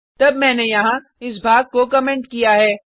तब मैंने यहाँ इस भाग को कमेंट किया है